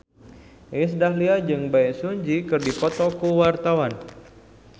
Iis Dahlia jeung Bae Su Ji keur dipoto ku wartawan